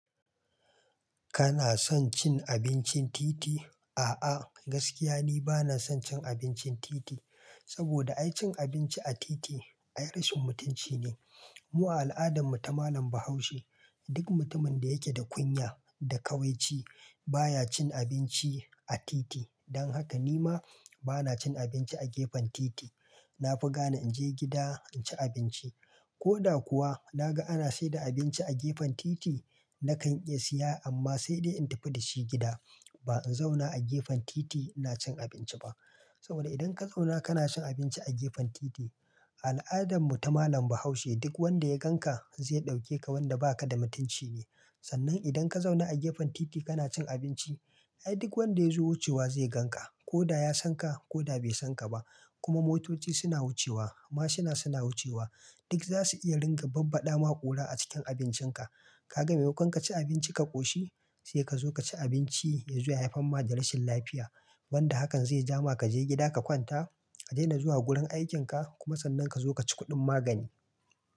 Kana son cin abincin titi? A'a gaskiya ni bana son cin abincin titi, saboda ai cin abinci a titi ai rashin mutunci ne. Mu a al'adan mu ta malam Bahaushe duk mutumin da yake da kunya da ƙawaici baya cin abinci a titi. Dan haka nima bana cin abinci a gefen titi. Na fi gane in je gida in ci abinci. Ko da kuwa na ga ana saida abinci a gefen titi nakan iya siya amma sai dai in tafi da shi gida. Ba in zauna a gefen titi ina cin abinci ba. Saboda idan ka zauna kana cin abinci a gefen titi, al'adan mu ta malam Bahaushe duk wanda ya gan ka zai ɗauke ka wanda ba ka da mutunci ne. Sannan idan ka zauna a gefen titi kana cin abinci ai duk wanda ya zo wucewa zai gan ka. Ko da ya san ka ko da bai san ka ba. Kuma motoci suna wucewa, mashuna suna wucewa duk zasu iya ringa babbada ma ƙura a cikin abincin ka. Ka ga memakon ka ci abinci ka ƙoshi? Sai ka zo ka ci abinci ya zo ya haifar ma da rashin lafiya. Wanda hakan zai ja ma ka je gida ka kwanta, ka daina zuwa gurin aikin ka kuma sannan ka zo ka ci kuɗin magani.